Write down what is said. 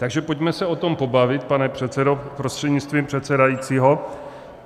Takže pojďme se o tom pobavit, pane předsedo prostřednictvím předsedajícího.